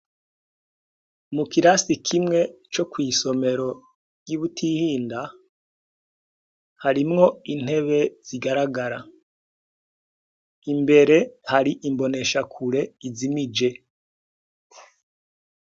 Mu kirasiti kimwe co kw'isomero ryi Butihinda harimwo intebe zigaragara imbere hari imboneshakure izimije